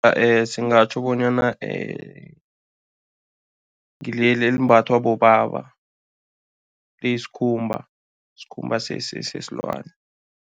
Singatjho bonyana ngileli elimbathwa bobaba, liyisikhumba, isikhumba sesilwane.